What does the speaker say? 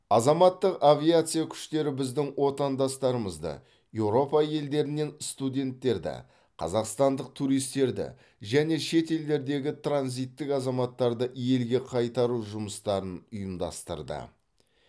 азаматтық авиация күштері біздің отандастарымызды еуропа елдерінен студенттерді қазақстандық туристерді және шет елдердегі транзиттік азаматтарды елге қайтару жұмыстарын ұйымдастырды